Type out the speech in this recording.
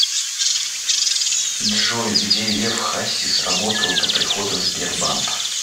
джой где лев хасис работал до прихода в сбербанк